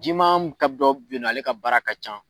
Jiman ka dɔ bɛ yen nɔ ale ka baara ka can.